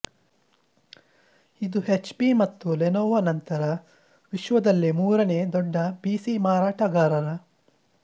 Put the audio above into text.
ಇದು ಎಚ್ಪಿ ಮತ್ತು ಲೆನೊವೊ ನಂತರ ವಿಶ್ವದಲ್ಲೇ ಮೂರನೇ ದೊಡ್ಡ ಪಿಸಿ ಮಾರಾಟಗಾರರ